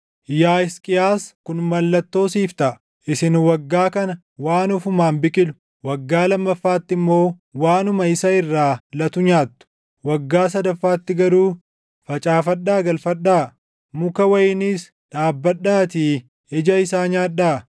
“Yaa Hisqiyaas kun mallattoo siif taʼa: “Isin waggaa kana waan ofumaan biqilu, waggaa lammaffaatti immoo waanuma isa irraa latu nyaattu. Waggaa sadaffaatti garuu facaafadhaa galfadhaa; muka wayiniis dhaabbadhaatii ija isaa nyaadhaa.